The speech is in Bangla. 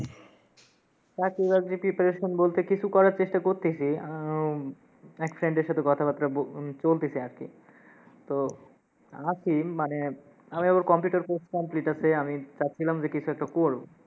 চাকরি বাকরির preparation বলতে কিছু করার চেষ্টা করতেসি আহ উম এক friend এর সাথে কথাবার্তা ব- উম চলতেসে আর কি, তো আসি, মানে আমি আবার computer course complete আসে, আমি চাচ্ছিলাম যে কিছু একটা করবো।